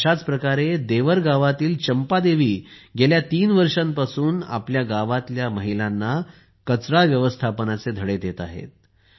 अशाच प्रकारे देवर गावातील चंपादेवी गेल्या तीन वर्षांपासून आपल्या गावातील महिलांना कचरा व्यवस्थापनाचे धडे देत आहेत